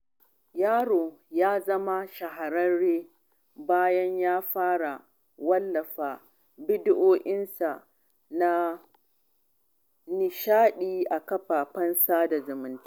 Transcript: Yaron ya zama shahararre bayan ya fara wallafa bidiyonsa na nishaɗi a kafafen sada zumunta.